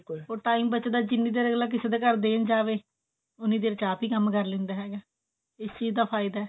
or time ਬਚਦਾ ਜਿੰਨੀ ਦੇਰ ਅਗਲਾ ਕਿਸੇ ਦੇ ਘਰ ਦੇਣ ਜਾਵੇ ਉਹਨੀਂ ਦੇਰ ਚ ਆਪ ਹੀ ਕੰਮ ਕਰ ਲਿੰਦਾ ਹੈਗਾ ਇਸ ਚੀਜ ਦਾ ਫਾਇਦਾ